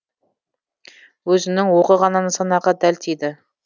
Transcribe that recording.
өзінің оғы ғана нысанаға дәл тиді